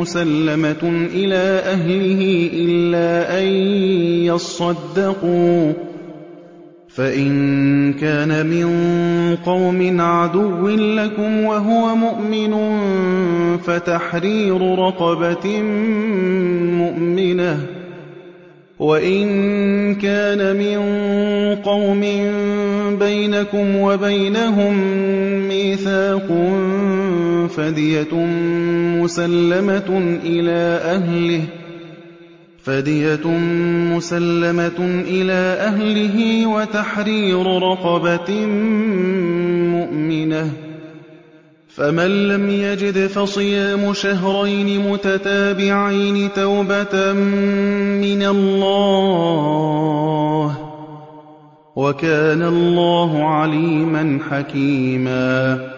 مُّسَلَّمَةٌ إِلَىٰ أَهْلِهِ إِلَّا أَن يَصَّدَّقُوا ۚ فَإِن كَانَ مِن قَوْمٍ عَدُوٍّ لَّكُمْ وَهُوَ مُؤْمِنٌ فَتَحْرِيرُ رَقَبَةٍ مُّؤْمِنَةٍ ۖ وَإِن كَانَ مِن قَوْمٍ بَيْنَكُمْ وَبَيْنَهُم مِّيثَاقٌ فَدِيَةٌ مُّسَلَّمَةٌ إِلَىٰ أَهْلِهِ وَتَحْرِيرُ رَقَبَةٍ مُّؤْمِنَةٍ ۖ فَمَن لَّمْ يَجِدْ فَصِيَامُ شَهْرَيْنِ مُتَتَابِعَيْنِ تَوْبَةً مِّنَ اللَّهِ ۗ وَكَانَ اللَّهُ عَلِيمًا حَكِيمًا